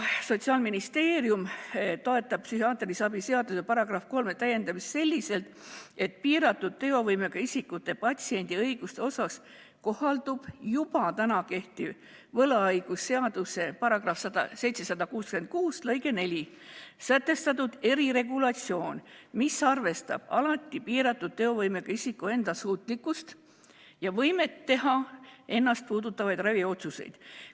Sotsiaalministeerium toetab psühhiaatrilise abi seaduse § 3 täiendamist selliselt, et piiratud teovõimega isikute patsiendiõiguste osas kohaldub juba kehtiv võlaõigusseaduse § 766 lõikes 4 sätestatud eriregulatsioon, mis arvestab alati piiratud teovõimega isiku enda suutlikkust ja võimet teha ennast puudutavaid raviotsuseid.